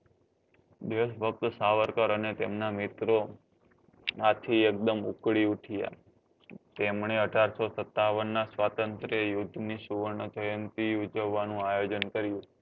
દેશભક્ત સાવરકર અને તેમના મિત્રો માંથી એકદમ ઉકલી ઉઠ્યા તેમને અઢારસો સત્તાવન ના સ્વાતંત્ર યુદ્ધ ની સુવર્ણ જયંતી ઉજવવા નું આયોજન કર્યું